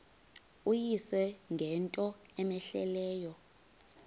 uyise ngento cmehleleyo